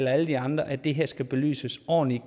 alle de andre at det her skal belyses ordentligt